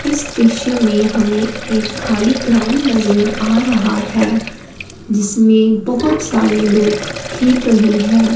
इस दृश्य में हमें एक खाली ग्राउंड नजर आ रहा है जिसमें बहुत सारे लोग खेल रहे हैं।